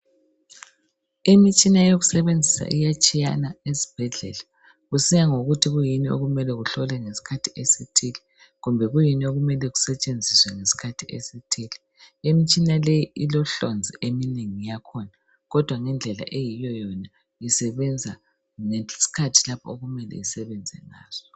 Imitshina yokusebenzisa iyatshiyana ezibhedlela ,kusiya ngokuthi kuyini okumele kuhlolwe ngesikhathi esithile kumbe kuyini okumele kusetshenziswe ngesikhathi esithile. Imitshina leyi ilohlonzi eminye yakhona kodwa ngendlela eyiyo yona isebenza ngesikhathi lapho okumele isebenze ngaso.